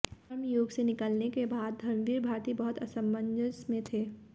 धर्मयुग से निकलने के बाद धर्मवीर भारती बहुत असमंजस में थे